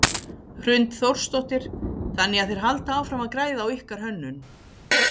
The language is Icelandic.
Hrund Þórsdóttir: Þannig að þeir halda áfram að græða á ykkar hönnun?